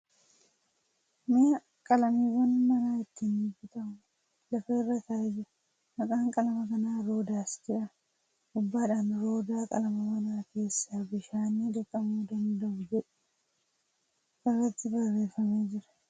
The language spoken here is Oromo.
Mi'a qalamiiwwan manaa ittiin bitamu lafa irra taa'ee jira. Maqaan qalama kanaa ' Roodaas ' jedhama . Gubbaaadhaan ' Roodaa qalama mana keessaa bishaaniin dhiqamuu danda'u ' jedhu irratti barreeffamee jira.